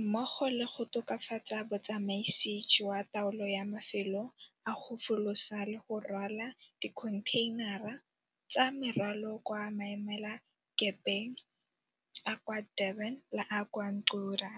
mmogo le go tokafatsa botsamaisi jwa taolo ya mafelo a go folosa le go rwala dikhontheinara tsa merwalo kwa maemelakepeng a kwa Durban le a kwa Ngqura.